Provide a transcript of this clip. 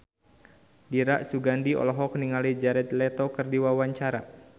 Dira Sugandi olohok ningali Jared Leto keur diwawancara